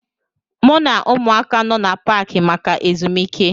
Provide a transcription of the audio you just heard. M na ụmụaka nọ n'Paakị maka ezumike